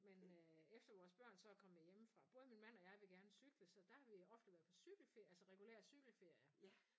Men øh efter vores børn så er kommet hjemmefra både min mand og jeg vil gerne cykle så der har vi ofte været på cykelferie altså regulære cykelferier